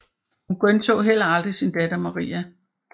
Hun genså heller aldrig sin datter Maria